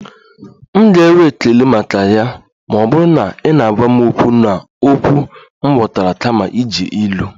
M ga-enwe ekele maka ya ma ọ bụrụ na ị na-agwa m okwu n'okwu m ghọtara kama iji ilu